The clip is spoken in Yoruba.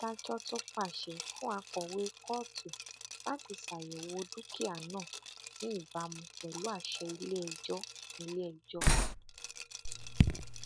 adájọ tún pàṣẹ fún akọwé kóòtù láti ṣàyẹwò dúkìá náà ní ìbámu pẹlú àṣẹ iléẹjọ iléẹjọ